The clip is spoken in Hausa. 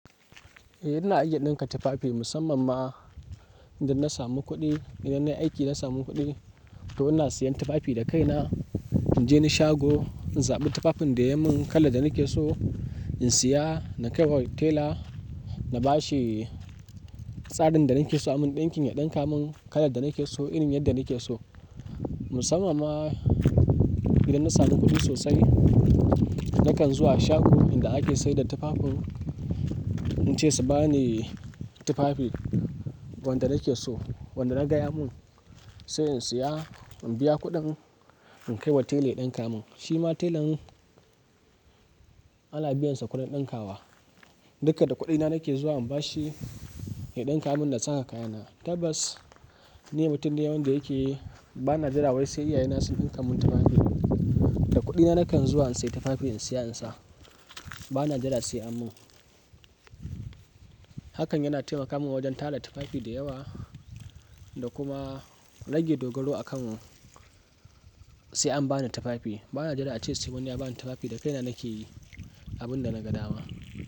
Eh ina iya ɗinka tufafi musamman ma idan na samu kuɗi, idan nayi aiki na samu kuɗi to ina siyan tufafi da kai na. In je ni shago in zaɓi tufafin da yayi mun kala da nake so in siya na kaiwa tela na bashi tsarin da nake so amun ɗinkin ya ɗinka mun kala da nake so irin yadda nake so. Musamman ma idan na samu kuɗi sosai nakan zuwa shago inda ake sayar da tufafin in ce su bani tufafi wanda nake so, wanda naga ya mun sai in siya in biya kuɗin in kai wa tela ya ɗinka mun. Shima telan ana biyan sa kuɗin ɗinkawa. Duka da kuɗina nake zuwa in bashi ya ɗinka mun nasa kaya na. Tabbas ni mutum ne wanda yake bana jira wai sai iyaye na su ɗinka mun tufafi. Da kuɗina nakan zuwa in siya tufafin in siya in sa. Ba na jira sai anyi mun hakan yana taimaka mu wajen tara tufafi da yawa da kuma rage dogaro a kan sai an bani tufafi. Bana jira ace sai wani ya bani tufafi da kaina nake yin abun da naga dama.